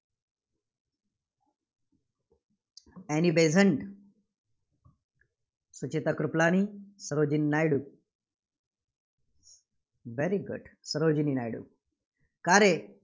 Annie Besant, Sucheta Kripalani, Sarojini Naidu very good Sarojini Naidu. का रे?